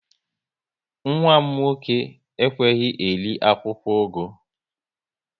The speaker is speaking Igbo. Nwa m nwoke ekweghị eri akwụkwọ ugu